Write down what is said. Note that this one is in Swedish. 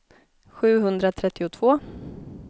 sjuhundratrettiotvå